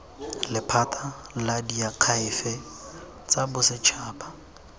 lephata la diakhaefe tsa bosetšhaba